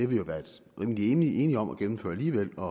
vi været rimelig enige om at gennemføre alligevel og